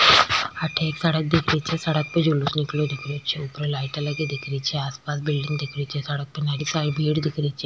अठे एक सड़क दिख री छे सड़क पे जुलुस निकला दिख रही छे ऊपर लाइटा लगी दिख रही छे आस पास भीड़ दिख रही छे सड़क पे घनी सारी भीड़ दिख री छ।